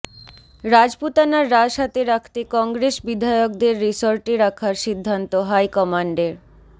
রাজপুতানার রাশ হাতে রাখতে কংগ্রেস বিধায়কদের রিসর্টে রাখার সিদ্ধান্ত হাইকমান্ডের